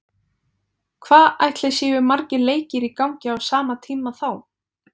Hvað ætli séu margir leikir í gangi á sama tíma þá?